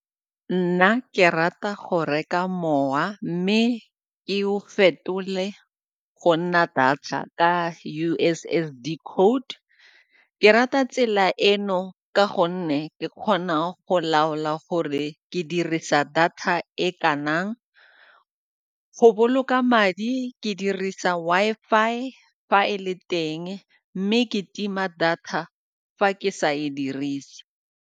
Nna ke rata go reka mowa mme ke o fetole go nna diatla ka U_S_S_D code. Ke rata tsela eno ka gonne ke kgona go laola gore ke dirisa data e kanang. Go boloka madi ke dirisa Wi-Fi fa e le teng mme ke tima data fa ke sa e dirise.